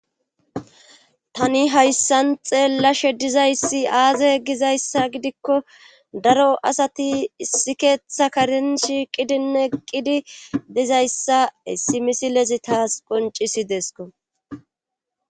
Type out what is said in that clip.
tani hayssan xeellashe dizayssi aaze ggizayssa gidikko daro asati issi keetha karen shiiqidinne eqqidi dizayssa hsssi misilezi taas qoncisideesko